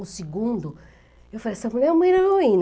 O segundo, eu falei, essa mulher é uma heroína.